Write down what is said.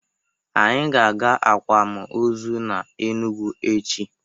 Anyị ga-aga akwam ozu na Enugwu echi.